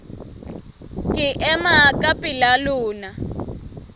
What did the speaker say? ke ema ka pela lona